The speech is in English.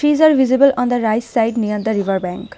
trees are visible on the right side near the river bank.